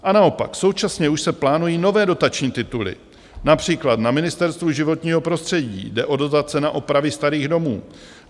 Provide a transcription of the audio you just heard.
A naopak, současně už se plánují nové dotační tituly, například na Ministerstvu životního prostředí jde o dotace na opravy starých domů.